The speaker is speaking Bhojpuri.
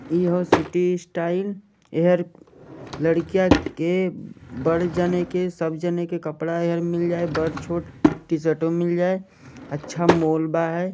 यहाँ सिटी स्टाइल एहर लड़कियाँ के बढ़ जाने के सब जने के कपड़ा मिल जाये बढ़ छोट टी शीरतो मिल जाये अच्छा मोल्बा है |